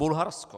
Bulharsko.